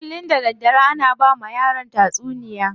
Kullum da daddare ana bawa yaran tatsuniya.